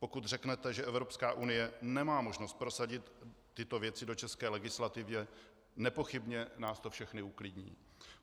Pokud řeknete, že Evropská unie nemá možnost prosadit tyto věci do české legislativy, nepochybně nás to všechny uklidní.